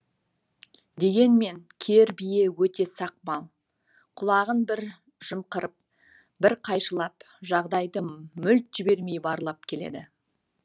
дегенмен кер бие өте сақ мал құлағын бір жымқырып бір қайшылап жағдайды мүлт жібермей барлап келеді